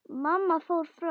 Mamma fór fram.